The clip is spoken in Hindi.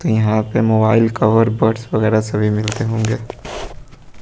यहां पे मोबाइल कवर बड्स वगैरह सभी मिलते होंगे।